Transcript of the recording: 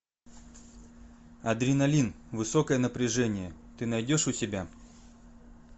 адреналин высокое напряжение ты найдешь у себя